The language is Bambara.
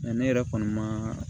ne yɛrɛ kɔni ma